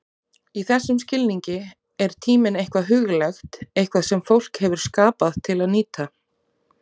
Í þessum skilningi er tíminn eitthvað huglægt, eitthvað sem fólk hefur skapað til að nýta.